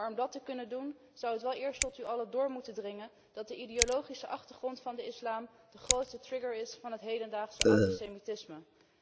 Maar om dat te kunnen doen, zou het wel eerst tot u allen door moeten dringen dat de ideologische achtergrond van de islam de grootste trigger is van het hedendaagse antisemitisme.